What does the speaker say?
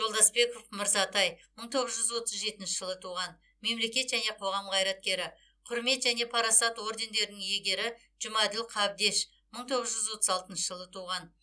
жолдасбеков мырзатай мың тоғыз жүз отыз жетінші жылы туған мемлекет және қоғам қайраткері құрмет және парасат ордендерінің иегері жұмаділ қабдеш мың тоғыз жүз отыз алтыншы жылы туған